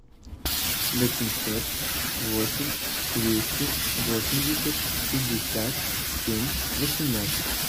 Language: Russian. восемьсот восемь двести восемьдесят пятьдесят семь восемнадцать